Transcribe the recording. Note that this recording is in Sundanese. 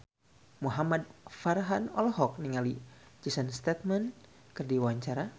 Muhamad Farhan olohok ningali Jason Statham keur diwawancara